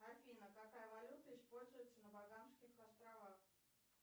афина какая валюта используется на багамских островах